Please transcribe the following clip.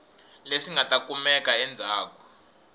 leswi nga ta kumeka endzhaku